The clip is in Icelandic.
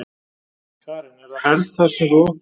Karen: Er það helst það sem þú óttast?